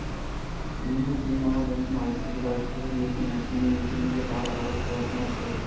енді сен маған осыны айтқызып-айтқызып ертең әкеңмен екеумізді тағы араз қыласың-ау сығыр